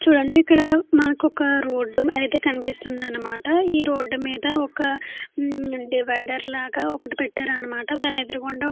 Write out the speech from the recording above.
చూడండి ఇక్కడ మనకు ఒక రోడ్డు అయితే కనిపిస్తుంది అన్నమాట. ఈ రోడ్డు మీద ఒక మ్మ్ డివైడర్ లాగా ఒకటి పెట్టారన్నమాట. దాని ఎదురుగుండా --